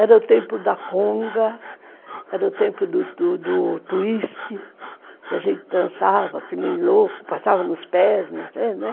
Era o tempo da conga, era o tempo do twist, que a gente dançava que nem louco, passava nos pés, não sei, né?